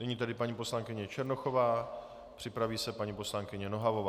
Nyní tedy paní poslankyně Černochová, připraví se paní poslankyně Nohavová.